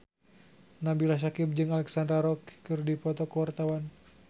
Nabila Syakieb jeung Alexandra Roach keur dipoto ku wartawan